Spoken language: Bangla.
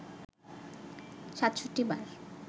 ৬৭ বার